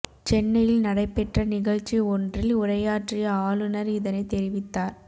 சென்னையில் நடை பெற்ற நிகழ்ச்சி ஒன்றில் உரையாற்றிய ஆளுநர் இதனை தெரிவித்தார்